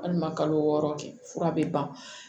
Hali ma kalo wɔɔrɔ kɛ fura be ban